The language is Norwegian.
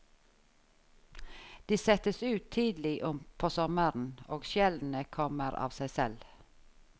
De settes ut tidlig på sommeren, og skjellene kommer av seg selv.